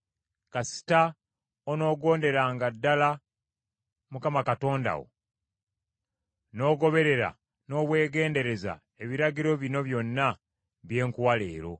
kasita onoogonderanga ddala Mukama Katonda wo, n’ogoberera n’obwegendereza ebiragiro bino byonna bye nkuwa leero.